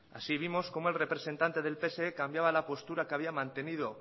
así vimos como el representante del pse cambiaba la postura que había mantenido